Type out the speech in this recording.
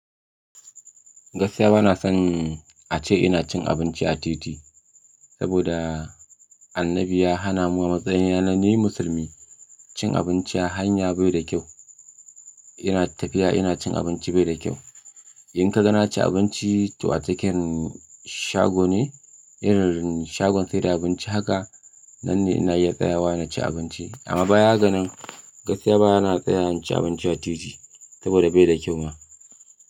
Gaskiya bana son a ce ina cin abinci a titi, saboda annabi ya hana mu a matsayina na ni musulmi cin abinci a hanya bai da kyau. Ina tafiya ina cin abinci bai da kyau. In ka ga na ci abinci, ta a taken shago ne, idan shagon sayar da abinci haka nan ne ina iya tsayawa na ci abinci. Amma baya ganin gaskiya bana tsayawa na ci abinci a titi saboda bai da kyau ma.